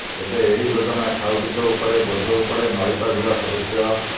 ଏବେ ଏହି ଯୋଜନା ଖାଉଟିଙ୍କ ଉପରେ ବୋଝ ଉପରେ ନଳିତା ବିଡ଼ା ସଦୃଶ